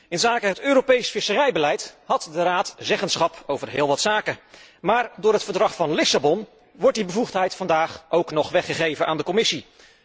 Inzake het Europees visserijbeleid had de Raad zeggenschap over heel wat zaken, maar door het Verdrag van Lissabon wordt die bevoegdheid vandaag ook nog weggegeven aan de Commissie.